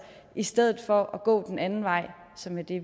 i stedet for at gå den anden vej som er det